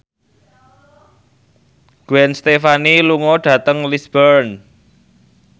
Gwen Stefani lunga dhateng Lisburn